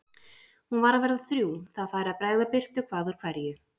Hún var að verða þrjú, það færi að bregða birtu hvað úr hverju.